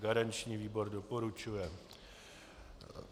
Garanční výbor doporučuje.